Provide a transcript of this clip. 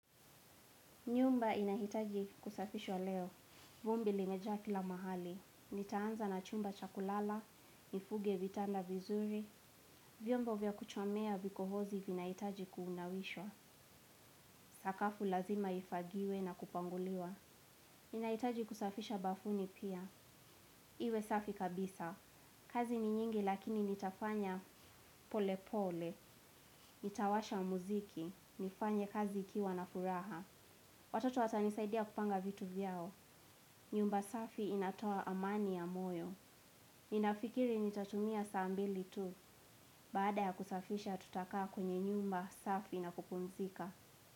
Nyumba inahitaji kusafishwa leo. Vumbi limejaa kila mahali. Nitaanza na chumba chakulala. Nifunge vitanda vizuri. Vyombo vya kuchomea vikohozi vinahitaji kunawishwa. Sakafu lazima ifagiwe na kupanguliwa. Ninahitaji kusafisha bafuni pia. Iwe safi kabisa. Kazi ni nyingi lakini nitafanya pole pole. Nitawasha muziki. Nifanye kazi ikiwa na furaha watoto watanisaidia kupanga vitu vyao nyumba safi inatoa amani ya moyo. Ninafikiri nitatumia saa mbili tu. Baada ya kusafisha tutakaa kwenye nyumba safi na kupunzika.